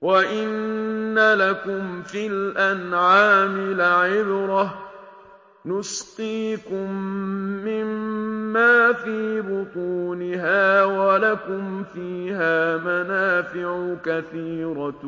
وَإِنَّ لَكُمْ فِي الْأَنْعَامِ لَعِبْرَةً ۖ نُّسْقِيكُم مِّمَّا فِي بُطُونِهَا وَلَكُمْ فِيهَا مَنَافِعُ كَثِيرَةٌ